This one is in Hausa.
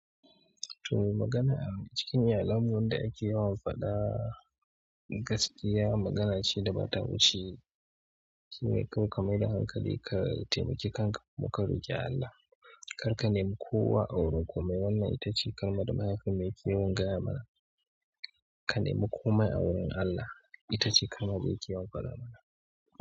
To magana a cikin iyalanmu wanda ake yawan faɗa gaskiya magana ce da ba ta wuce shine kawai ka mai da hankali ka taimaki kanka kuma ka roƙi Allah. Kar ka nemi kowa awurin komai wannan ita ce kalmar da mahaifinmu yake yawan gaya mana. Ka nemi komai a wurin Allah ita ce kalmar da yake yawan faɗa mana.